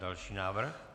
Další návrh?